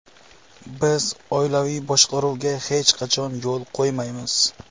Biz oilaviy boshqaruvga hech qachon yo‘l qo‘ymaymiz!